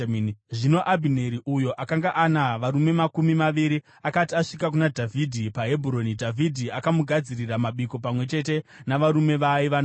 Zvino Abhineri, uyo akanga ana varume makumi maviri, akati asvika kuna Dhavhidhi paHebhuroni, Dhavhidhi akamugadzirira mabiko pamwe chete navarume vaaiva navo.